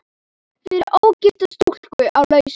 Fyrir ógifta stúlku á lausu.